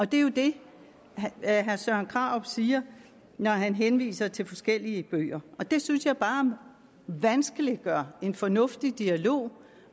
det er jo det herre søren krarup siger når han henviser til forskellige bøger det synes jeg bare vanskeliggør en fornuftig dialog